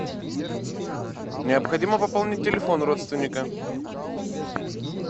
необходимо пополнить телефон родственника